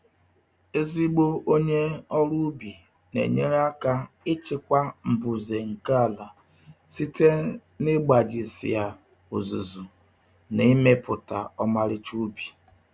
Ezigbo onye um ọrụ ubi na-enyere aka ịchịkwa mbuze nke ala site n'ịgbajisịa ozuzu um na ịmepụta ọmarịcha ubi.